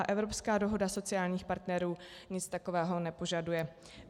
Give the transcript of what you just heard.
A evropská dohoda sociálních partnerů nic takového nepožaduje.